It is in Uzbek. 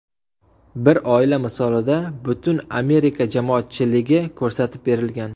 Bir oila misolida butun Amerika jamoatchiligi ko‘rsatib berilgan.